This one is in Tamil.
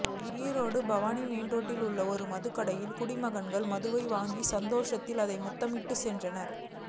ஈரோடு பவானி மெயின் ரோட்டில் உள்ள ஒரு மதுக்கடையில் குடிமகன்கள் மதுவை வாங்கிய சந்தோஷத்தில் அதை முத்தமிட்டபடி சென்றனர்